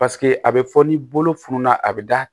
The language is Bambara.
Paseke a bɛ fɔ ni bolo fununna a bɛ da